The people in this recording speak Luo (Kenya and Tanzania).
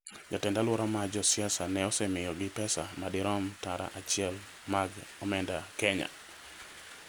jatend-alwora mar Jo-Siasa ne osemiyogi pesa madirom tara achiel mag omenda Kenya.